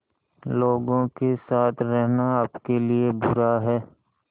लोगों के साथ रहना आपके लिए बुरा है